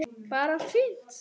Bara allt fínt.